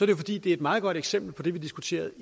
jo fordi det er et meget godt eksempel på det vi diskuterede